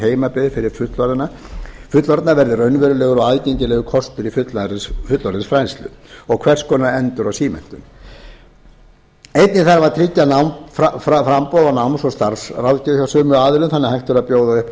heimabyggð fyrir fullorðna verður raunverulegur og aðgengilegur kostur í fullorðinsfræðslu og hvers konar endur og símenntun einnig þarf að tryggja námsframboð og starfsráðgjöf hjá sömu aðilum þannig að hægt verði að bjóða upp